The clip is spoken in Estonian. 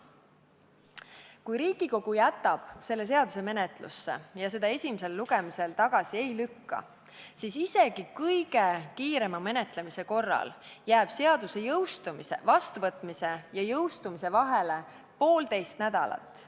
Kui Riigikogu jätab selle seaduse menetlusse ja seda täna esimesel lugemisel tagasi ei lükka, siis isegi kõige kiirema menetlemise korral jääb seaduse vastuvõtmise ja jõustumise vahele poolteist nädalat.